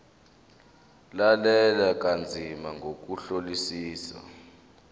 lalela kanzima ngokuhlolisisa